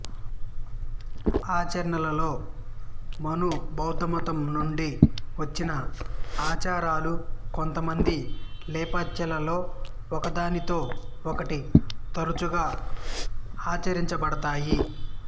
ఆచరణలో మును బౌద్ధమతం నుండి వచ్చిన ఆచారాలు కొంతమంది లెప్చాలలో ఒకదానితో ఒకటి తరచుగా ఆచరించబడతాయి